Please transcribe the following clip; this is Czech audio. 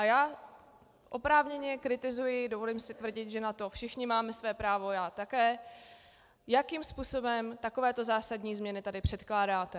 A já oprávněně kritizuji, dovolím si tvrdit, že na to všichni máme své právo, já také, jakým způsobem takovéto zásadní změny tady předkládáte.